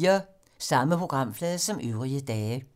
Samme programflade som øvrige dage